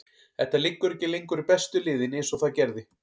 Þetta liggur ekki lengur í bestu liðin eins og það gerði.